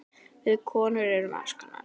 Við konur erum alls konar.